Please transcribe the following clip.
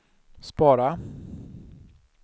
spara